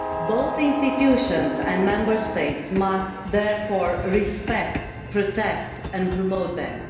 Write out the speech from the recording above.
Both institutions and Member States must therefore respect, protect and promote them.